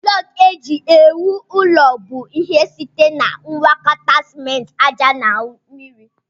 Blọku eji ewu ụlọ bụ ihe site na ngwakọta simenti, aja na mmiri.